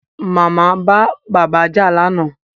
Màmá bá bàbá jà lánàá